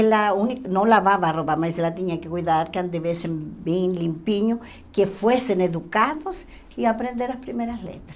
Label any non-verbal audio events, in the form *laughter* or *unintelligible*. Ela uni não lavava a roupa, mas ela tinha que cuidar que *unintelligible* bem limpinho, que fossem educados e aprender as primeiras letras.